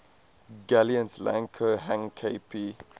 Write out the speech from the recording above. guillemets lang ko hang kp